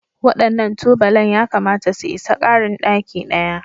Waɗannan tubalan yakamata su isa ƙarin ɗaki ɗaya